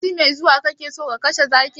Sati mai zuwa kake so ka kashe zakin?